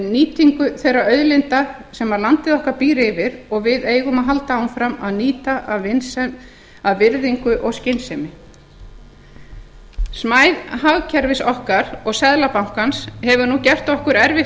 nýtingu þeirra auðlinda sem landið okkar býr yfir og við eigum að halda áfram að nýta af virðingu og skynsemi smæð hagkerfis okkar og seðlabankans hefur nú gert okkur erfitt